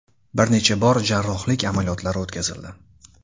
Bir necha bor jarrohlik amaliyotlari o‘tkazildi.